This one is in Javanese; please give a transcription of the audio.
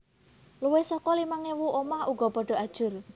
Luwih saka limang ewu omah uga padha ajur